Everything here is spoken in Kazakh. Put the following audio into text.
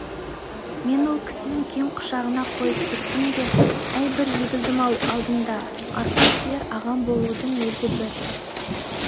мен ол кісінің кең құшағына қойып кеттім де әй бір егілдім-ау алдыңда арқа сүйер ағаң болудың өзі бір